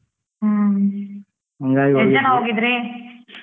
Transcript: ಹ್ಮ್ ಹೋಗಿದ್ರಿ?